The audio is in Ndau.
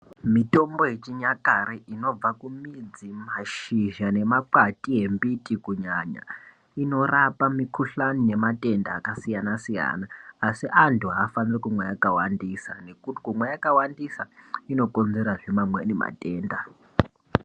Mitombo yechinyakare inobva kumidzi mashizha ne makwati embiti kunyanya inorapa mikuhlani nema tenda aka siyana siyana asi andu afaniri kunwa yakawandisa nekuti kumwa yaka wandisa ino konzera zve amweni matenda.